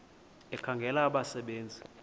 ekhangela abasebe nzi